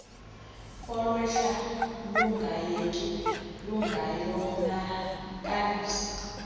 olwehla lungayeki lungayonakalisa